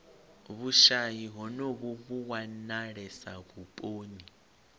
vhushayi honovhu vhu wanalesa vhuponi